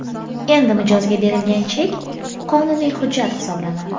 Endi mijozga berilgan chek qonuniy hujjat hisoblanadi.